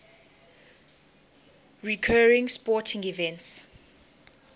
recurring sporting events